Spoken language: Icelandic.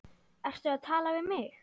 Ertu að tala við mig?